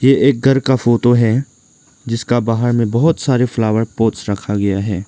एक घर का फोटो है जिसका बाहर में बहोत सारे फ्लावर पॉट्स रखा गया है।